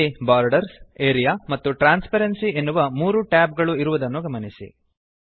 ಅಲ್ಲಿ borders area ಮತ್ತು transparency ಎನ್ನುವ 3 ಟ್ಯಾಬ್ ಗಳು ಇರುವುದನ್ನು ಗಮನಿಸಿ